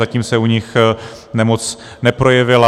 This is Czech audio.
Zatím se u nich nemoc neprojevila.